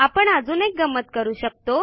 आपण अजून एक गंमत करू शकतो